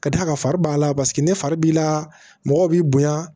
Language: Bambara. Ka d'a kan fari b'a la paseke ne fari b'i la mɔgɔ b'i bonya